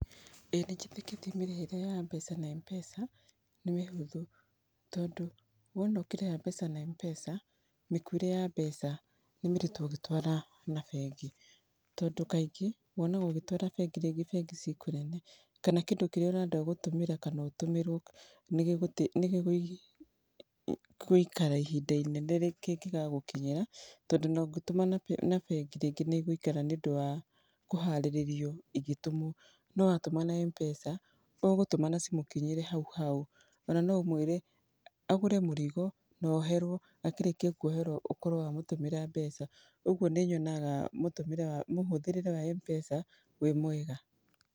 ĩĩ nĩ njĩtĩkĩtie mĩrĩhĩre ya mbeca na Mpesa nĩ mĩhũthũ, tondũ wona ũkĩrĩha mbeca na Mpesa, mĩkuĩre ya mbeca nĩ mĩritũ ũgĩtwara na bengi. Tondũ kaingĩ wonaga ũgĩtwara bengi rĩngĩ bengi ciĩ kũnene, kana kĩndũ kĩrĩa ũrenda gũtũmĩra kana ũtũmĩrwo nĩ gĩgũikara ihinda inene kĩngĩgagũkinyĩra, tondũ ona ũngĩtũma na bengi rĩngĩ nĩ ĩgũikara nĩ ũndũ wa kũharĩrĩrio igĩtũmwo. No watũma na Mpesa, ũgũtũma na cimũkinyĩre hau hau. Ona no ũmwĩre agũre mũrigo na oherwo, akĩrĩkia kwoherwo ũkorwo wamũtũmĩra mbeca. Ũguo nĩ nyona mũhũthĩrĩre wa Mpesa wĩ mwega.